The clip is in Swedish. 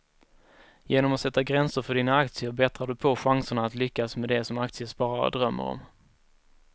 Genom att sätta gränser för dina aktier bättrar du på chanserna att lyckas med det som aktiesparare drömmer om.